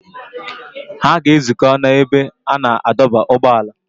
Ha ga-ezukọ n’ebe a na-adọba ụgbọala.